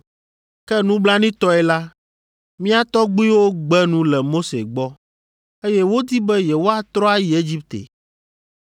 “Ke nublanuitɔe la, mía tɔgbuiwo gbe nu le Mose gbɔ, eye wodi be yewoatrɔ ayi Egipte.